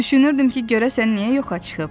Düşünürdüm ki, görəsən niyə yoxa çıxıb?